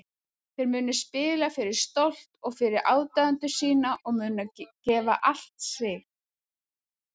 Þeir munu spila fyrir stolt og fyrir aðdáendur sína og munu gefa allt sig.